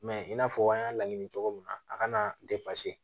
Mɛ i n'a fɔ an y'a laɲini cogo min na a kana